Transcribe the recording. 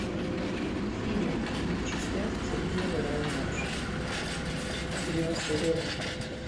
фильм в двух частях сергея бодрова младшего девяностые годы